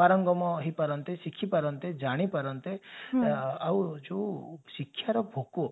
ପାରଙ୍ଗମ ହେଇପାରନ୍ତେ ଶିଖି ପାରନ୍ତେ ଜାଣି ପାରନ୍ତେ ଆଉ ଯଉ ଶିକ୍ଷା ତ ଭୋକୋ